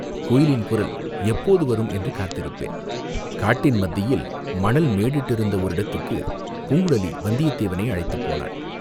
"குயிலின் குரல் எப்போது வரும் என்று காத்திருப்பேன்." காட்டின் மத்தியில் மணல் மேடு இட்டிருந்த ஓரிடத்துக்குப் பூங்குழலி வந்தியத்தேவனை அழைத்துப் போனாள்.